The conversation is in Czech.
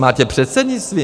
Máte předsednictví?